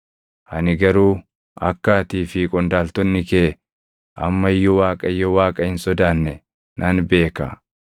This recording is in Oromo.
Ani garuu akka atii fi qondaaltonni kee amma iyyuu Waaqayyo Waaqa hin sodaanne nan beeka.”